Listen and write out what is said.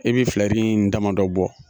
E bɛ filɛri in damadɔ bɔ.